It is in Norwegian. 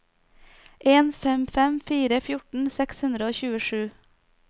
en fem fem fire fjorten seks hundre og tjuesju